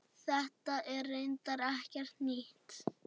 Þetta er reyndar ekkert nýtt.